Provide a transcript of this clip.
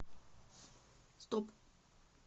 стоп